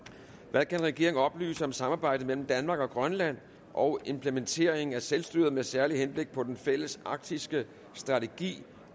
hvad kan regeringen oplyse om samarbejdet mellem danmark og grønland og implementeringen af selvstyret med særligt henblik på den fælles arktiske strategi